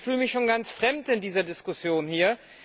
Ich fühle mich schon ganz fremd in dieser Diskussion hier.